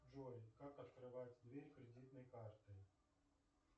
джой как открывать дверь кредитной картой